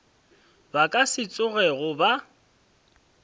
ba ka se tsogego ba